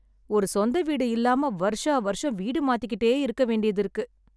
ஒரு சொந்த வீடு இல்லாம வருஷம் வருஷம் வீடு மாத்திக்கிட்டே இருக்க வேண்டியது இருக்கு.